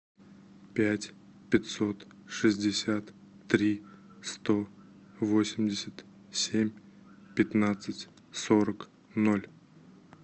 пять пятьсот шестьдесят три сто восемьдесят семь пятнадцать сорок ноль